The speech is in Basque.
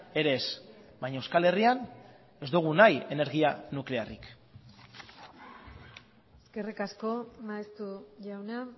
ere ez baina euskal herrian ez dugu nahi energia nuklearrik eskerrik asko maeztu jauna